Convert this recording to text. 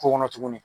K'o kɔnɔ tuguni